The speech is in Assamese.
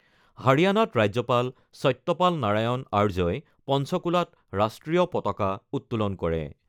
হাৰিয়ানাত ৰাজ্যপাল সত্যপাল নাৰায়ণ আৰ্যই পঞ্চকুলাত ৰাষ্ট্ৰীয় পতাকা উত্তোলন কৰে।